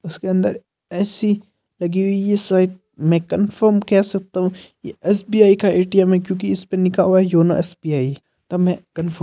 उसके अंदर A C लगी हुई है शायद मे कन्फर्म कह सकता हु ये एसबी आई का ए_टी_एम है क्योकि इसपे लिखा हुआ है यूनो एस बी आई तो मे कन्फर्म --